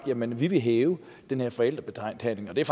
jamen vi vil hæve den her forældrebetalingen og det er